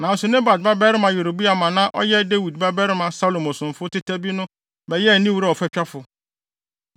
Nanso Nebat babarima Yeroboam a na ɔyɛ Dawid babarima Salomo somfo teta bi no bɛyɛɛ ne wura ɔfatwafo.